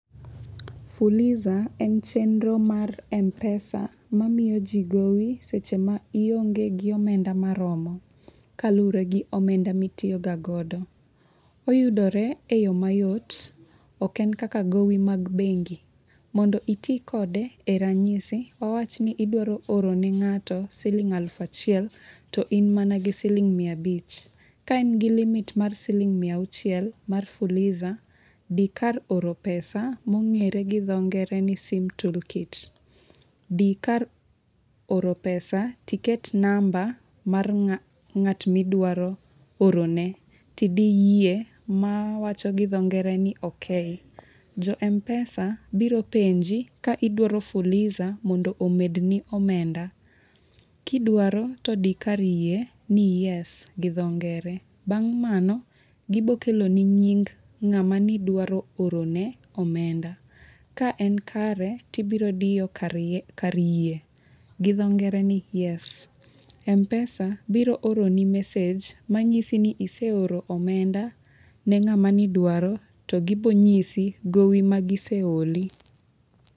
Fuliza en chenro mar mpesa mamiyo jii gowi seche ma ionge gi omenda maromo kaluowore gi omenda mitiyo ga godo. Oyudore e yoo mayot ok en kaka gowi mag bengi. Mondo iti kode e ranyisi wawachni idwaro oro ne ng'ato siling alufu achiel to in mana gi siling mia abich . Ka in gi limit mar siling mia auchiel mar fuliza dhi kar oro pesa mong'ere gi dho ngere ni sim tool kit di kar oro pesa tiket namba mar ng'at midwa orone tidi yie mawacho gi dho ngere ni okay. Jo mpesa biro penji ka idwaro fuliza mondo omedni omenda . Kidwaro to di kar yie midendo ni yes gi dho ngere. Bang' mano gibro kelo ni nying ng'ama nidwa orone omenda ka en kare tibro diyo kar yie midendo gi dho ngere ni yes . Mpesa biro oroni message manyisi ni iseporo omenda ne ng'ama nidwaro to gibo nyisi gowi ma giseoli.